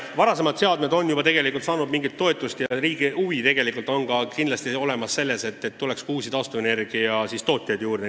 Varasemad seadmed on juba mingit toetust saanud ja riigi huvi tegelikult on kindlasti ka see, et tuleks uusi taastuvenergiatootjaid juurde.